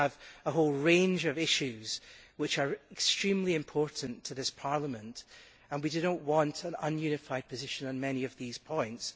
We have a whole range of issues which are extremely important to this Parliament, and we do not want an un unified position on many of these points.